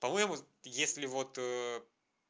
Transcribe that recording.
по-моему если вот